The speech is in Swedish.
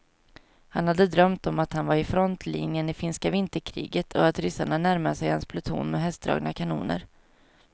Han hade drömt om att han var i frontlinjen i finska vinterkriget och att ryssarna närmade sig hans pluton med hästdragna kanoner.